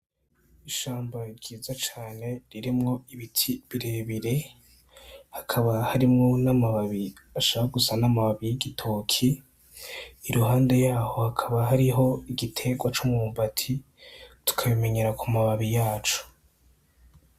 Ishamba ryiza cane ririmwo ibiti bire bire hakaba harimwo n' amababi ashaka gusa n' amababi y' igitoki iruhande yaho hakaba hariho igitegwa c'umwumbati tukabimenyera kumababi yaco.